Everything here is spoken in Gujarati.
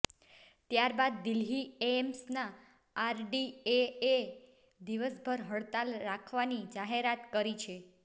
ત્યાર બાદ દિલ્હી એમ્સના આરડીએએ દિવસભર હડતાલ રાખવાની જાહેરાત કરી છે